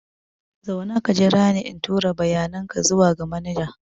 Zauna ka jira ni in tura bayanan ka zuwa ga manaja.